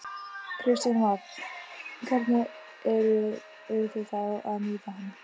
Kristján Már: Hvernig eru þið þá að nýta hann?